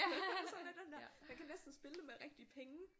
Sådan lidt den der man kan næsten spille det med rigtige penge